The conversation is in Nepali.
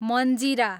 मञ्जिरा